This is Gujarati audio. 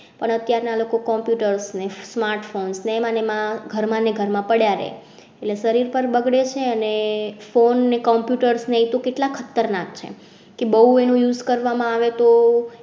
પણ અત્યાર ના લોકો computers અને smart phones ને એમાં એમાં ઘરમાં ને ઘરમાં પડ્યા રહે છે શરીર પર બગડે અને phone ને computers ને તો કેટલા ખતરનાક છે બહુ એનું use કરવામાં આવે તો